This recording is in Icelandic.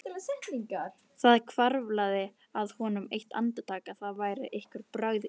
Það hvarflaði að honum eitt andartak að það væru einhver brögð í tafli.